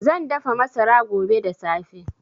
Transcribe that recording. Zan dafa masara. gobe da safe